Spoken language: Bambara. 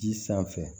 Ji sanfɛ